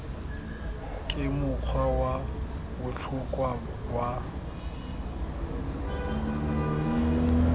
ke mokgwa wa botlhokwa wa